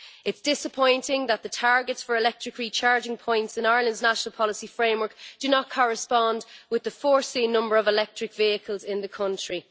It is disappointing that the targets for electric recharging points in Ireland's national policy framework do not correspond with the expected number of electric vehicles in the country.